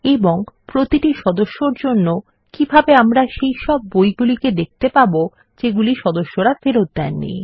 এবং প্রতিটি সদস্যর জন্য কিভাবে আমরা সেইসব বইগুলিকে দেখতে পাবো যেগুলি সদস্যরা ফেরত দেননি